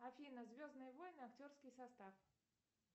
афина звездные войны актерский состав